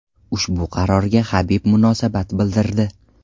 Ushbu qarorga Habib munosabat bildirdi.